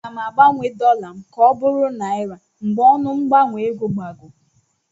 Aga m agbanwe dọla m ka ọ bụrụ naịra mgbe ọnụ mgbanwe ego gbagoo.